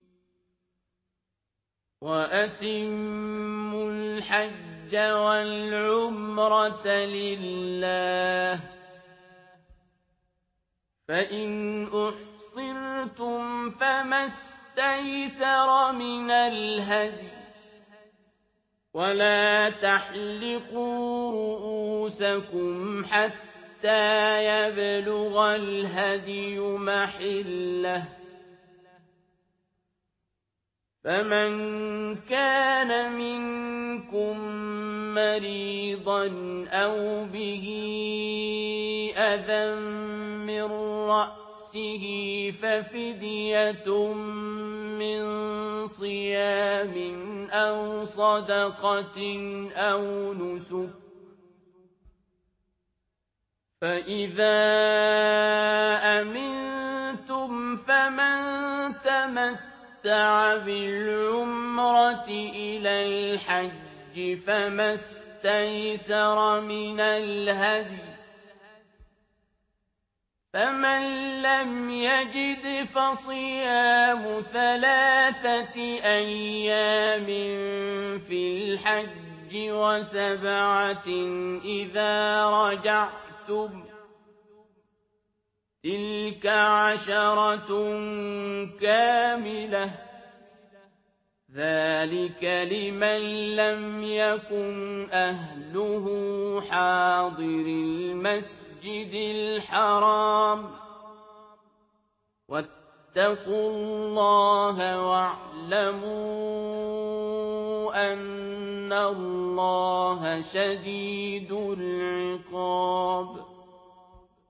وَأَتِمُّوا الْحَجَّ وَالْعُمْرَةَ لِلَّهِ ۚ فَإِنْ أُحْصِرْتُمْ فَمَا اسْتَيْسَرَ مِنَ الْهَدْيِ ۖ وَلَا تَحْلِقُوا رُءُوسَكُمْ حَتَّىٰ يَبْلُغَ الْهَدْيُ مَحِلَّهُ ۚ فَمَن كَانَ مِنكُم مَّرِيضًا أَوْ بِهِ أَذًى مِّن رَّأْسِهِ فَفِدْيَةٌ مِّن صِيَامٍ أَوْ صَدَقَةٍ أَوْ نُسُكٍ ۚ فَإِذَا أَمِنتُمْ فَمَن تَمَتَّعَ بِالْعُمْرَةِ إِلَى الْحَجِّ فَمَا اسْتَيْسَرَ مِنَ الْهَدْيِ ۚ فَمَن لَّمْ يَجِدْ فَصِيَامُ ثَلَاثَةِ أَيَّامٍ فِي الْحَجِّ وَسَبْعَةٍ إِذَا رَجَعْتُمْ ۗ تِلْكَ عَشَرَةٌ كَامِلَةٌ ۗ ذَٰلِكَ لِمَن لَّمْ يَكُنْ أَهْلُهُ حَاضِرِي الْمَسْجِدِ الْحَرَامِ ۚ وَاتَّقُوا اللَّهَ وَاعْلَمُوا أَنَّ اللَّهَ شَدِيدُ الْعِقَابِ